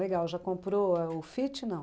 Legal, já comprou o Fit, não?